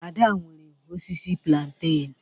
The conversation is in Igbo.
Ada nwere osisi plantain